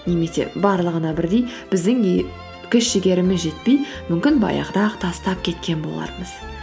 немесе барлығына бірдей біздің күш жігеріміз жетпей мүмкін баяғыда ақ тастап кеткен болармыз